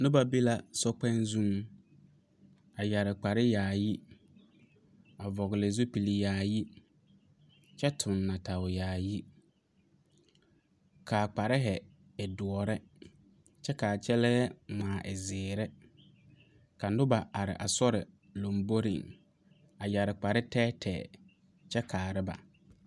Noba be la sokpoŋ zuŋ a yɛre kpare yaayi a vɔgle zupil yaayi kyɛ tuŋ nɔɔteyaayi ka a kpare e doɔre kyɛ ka a kyɛlɛɛ ŋmaa e zeere ka noba are a sori lomboreŋ a yɛre kpare tɛɛtɛɛ kyɛ kaara ba.